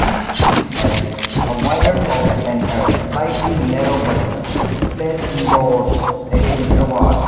each piece has a wider top and a slightly narrow button placed indoors against a wall.